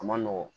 A ma nɔgɔn